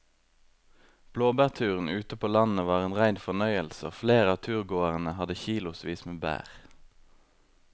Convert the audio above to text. Blåbærturen ute på landet var en rein fornøyelse og flere av turgåerene hadde kilosvis med bær.